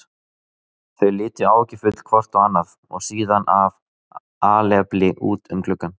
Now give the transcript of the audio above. Þau litu áhyggjufull hvort á annað og síðan af alefli út um gluggann.